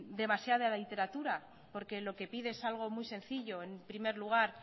demasiada literatura porque lo que pide es algo muy sencillo en primer lugar